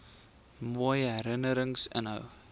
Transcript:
mooi herinnerings inhou